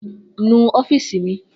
Nu ọọ́fíìsì mi